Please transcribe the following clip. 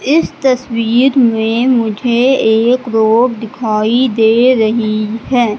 इस तस्वीर में मुझे एक रोड दिखाई दे रही हैं।